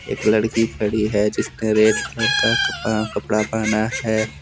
एक लड़की खड़ी है। जिसने रेड कलर का कपड़ा कपड़ा पहना है।